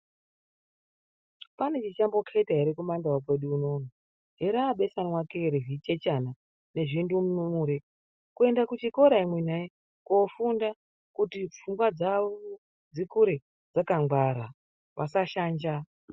Pane chichamboketa ere kumandau kwedu unono. Erabeswanwake rezvichechana nezvindumire kuenda kuchikora imwi nai kofunda kuti pfungwa dzawo dzikure dzakangwara vasashanja.